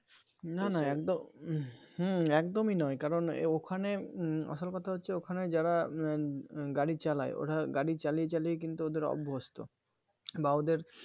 না না একদম হম একদমই নয় কারণ ওখানে আসল কথা হচ্ছে ওখানে যারা উম গাড়ি চালায় ওরা গাড়ি চালিয়ে চালিয়ে কিন্তু ওদের অভস্ত বা ওদের